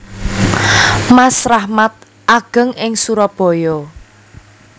Mas Rahmat ageng ing Surabaya